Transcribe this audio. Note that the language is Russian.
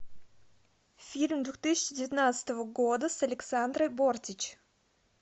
фильм две тысячи девятнадцатого года с александрой бортич